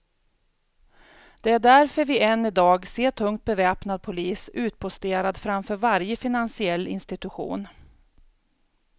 Det är därför vi än idag ser tungt beväpnad polis utposterad framför varje finansiell institution.